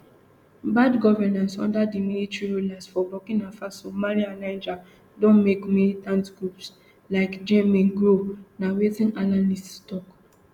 bad governance under di military rulers for burkina faso mali and niger don make militant groups like jnim grow na wetin analysts tok